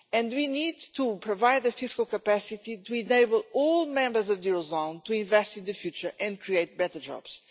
We need to provide the fiscal capacity to enable all members of the eurozone to invest in the future and create better jobs.